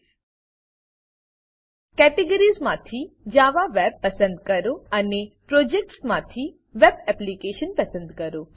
categories categories માંથી Java web Java web પસંદ કરો અને પ્રોજેક્ટ્સ પ્રોજેક્ટ્સ માંથી વેબ એપ્લિકેશન વેબ એપ્લીકેશન પસંદ કરો